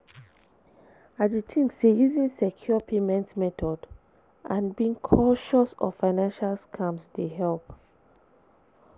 I dey think say using secure payment method and being cautious of financial scams dey help.